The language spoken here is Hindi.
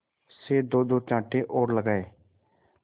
से दोदो चांटे और लगाए